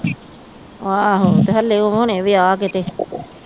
ਆਹੋ ਤੇ ਹਲੇ ਹੁਣੇ ਵਿਆਹ ਕੇ ਤੇ